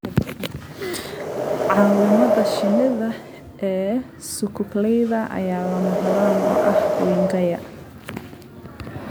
Caawimada shinnida ee sukukleyda ayaa lama huraan u ah wingaya.